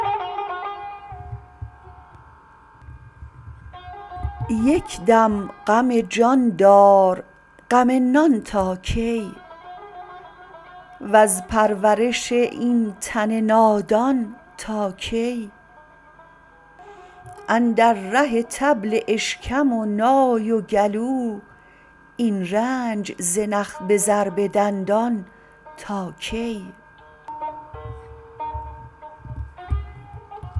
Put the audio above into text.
یک دم غم جان دار غم نان تا کی وز پرورش این تن نادان تا کی اندر ره طبل اشکم و نای و گلو این رنج ز نخ به ضرب دندان تا کی